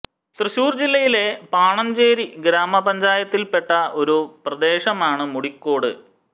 തൃശ്ശൂർ ജില്ലയിലെ പാണഞ്ചേരി ഗ്രാമപഞ്ചായത്തിൽ പെട്ട ഒരു പ്രദേശമാണ് മുടിക്കോട്